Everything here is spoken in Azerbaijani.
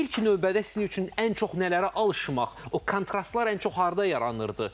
İlk növbədə sizin üçün ən çox nələrə alışmaq, o kontrastlar ən çox harda yaranırdı?